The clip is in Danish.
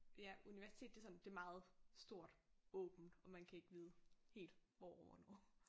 Det er universitet det er sådan det meget stort åbent og man kan ikke vide helt hvor og hvornår